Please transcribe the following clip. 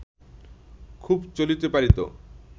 খুব চলিতে পারিত